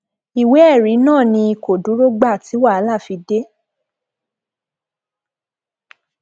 ìwé ẹrí náà ni kò dúró gba ti wàhálà fi dé